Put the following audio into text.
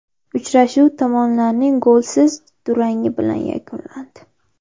Uchrashuv tomonlarning golsiz durangi bilan yakunlandi.